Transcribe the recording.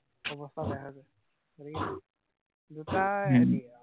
অৱস্থা বেয়া হৈ যায়। উম দুটা হম